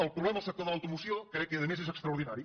el problema al sector de l’automoció crec que a més és extraordinari